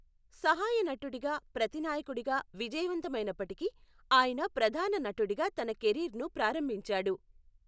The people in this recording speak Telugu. సహాయ నటుడిగా, ప్రతినాయకుడిగా విజయవంతమైనప్పటికీ, ఆయన ప్రధాన నటుడిగా తన కెరీర్ను ప్రారంభించాడు.